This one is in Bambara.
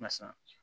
Barisa